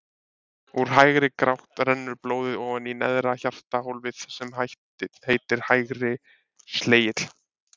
Úr hægri gátt rennur blóðið ofan í neðra hjartahólfið sem heitir hægri slegill.